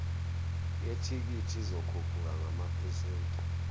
yethikithi izokhuphuka ngamaphesenti